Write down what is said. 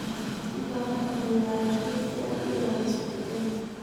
Waxaad u baahan tahay waardiye si aad u ilaaliso digaagga.